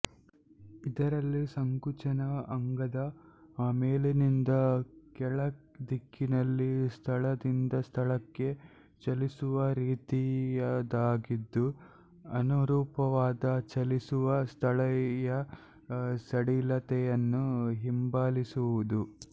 ಇದರಲ್ಲಿ ಸಂಕುಚನವು ಅಂಗದ ಮೇಲಿನಿಂದ ಕೆಳದಿಕ್ಕಿನಲ್ಲಿ ಸ್ಥಳದಿಂದ ಸ್ಥಳಕ್ಕೆ ಚಲಿಸುವ ರೀತಿಯದಾಗಿದ್ದು ಅನುರೂಪವಾದ ಚಲಿಸುವ ಸ್ಥಳೀಯ ಸಡಿಲತೆಯನ್ನು ಹಿಂಬಾಲಿಸುವುದು